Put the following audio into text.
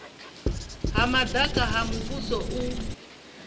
ha madaka ha muvhuso u